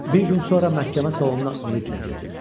Bir gün sonra məhkəmə salonuna ümidlə girdim.